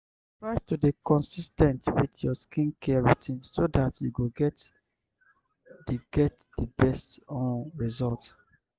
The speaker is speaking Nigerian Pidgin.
try to dey consis ten t with your skin care routine so dat you go get di get di best um result